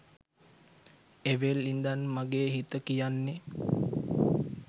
එවෙල් ඉඳන් මගේ හිත කියන්නෙ